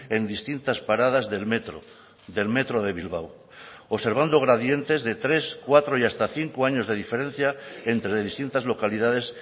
en distintas paradas del metro del metro de bilbao observando gradientes de tres cuatro y hasta cinco años de diferencia entre distintas localidades